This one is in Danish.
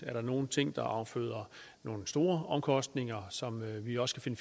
er der nogle ting der afføder nogle store omkostninger som vi også kan